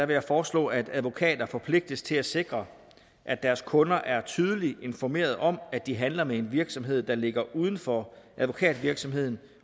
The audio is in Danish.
vil foreslå at advokater forpligtes til at sikre at deres kunder er tydeligt informeret om at de handler med en virksomhed der ligger uden for advokatvirksomheden